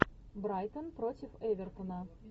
брайтон против эвертона